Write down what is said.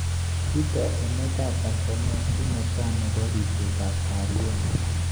Kitoi emet ab Tnzania ki netai nebo ribset ab kaliet.